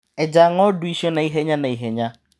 Eja ng'ondu icio naihenya naihenya.